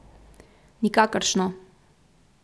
Nikakršno.